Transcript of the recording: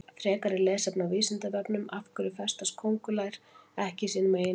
Frekara lesefni á Vísindavefnum Af hverju festast köngulær ekki í sínum eigin vef?